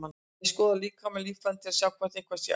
Ég skoða líkamann og líffærin til að sjá hvort eitthvað sé að.